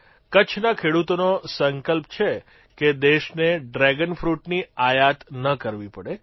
કચ્છના ખેડૂતોનો સંકલ્પ છે કે દેશને ડ્રેગન ફ્રૂટની આયાત ન કરવી પડે